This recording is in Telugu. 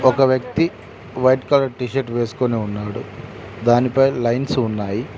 ఒక వ్యక్తి వైట్ కలర్ టీషర్ట్ వేసుకొని ఉన్నాడు దానిపై లైన్స్ ఉన్నాయి.